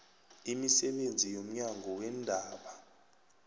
imisebenzi yomnyango weendaba